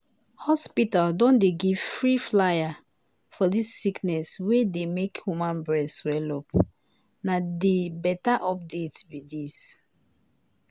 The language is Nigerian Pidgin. hospital don dey give free flyer for dis sickness wey dey make woman breast swell-up na di beta update be dis.